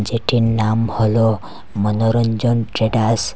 যেটির নাম হলো মনোরঞ্জন ট্রেডার্স